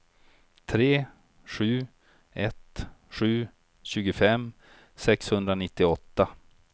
tre sju ett sju tjugofem sexhundranittioåtta